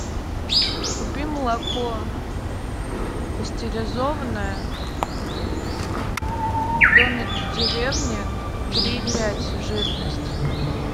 купи молоко пастеризованное домик в деревне три и пять жирность